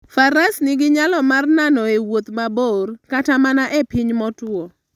Faras nigi nyalo mar nano e wuoth mabor kata mana e piny motwo.